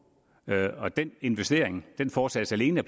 og den investering foretages alene